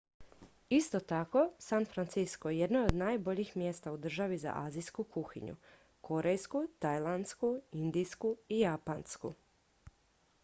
isto tako san francisco jedno je od najboljih mjesta u državi za azijsku kuhinju korejsku tajlandsku indijsku i japansku